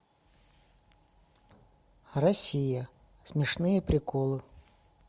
россия смешные приколы